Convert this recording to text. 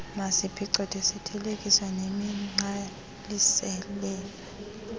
maziphicothwe zithelekiswa nemigqalisela